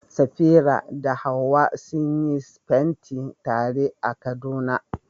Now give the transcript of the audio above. Safira da Hawwa sun yi fenti tare a Kaduna.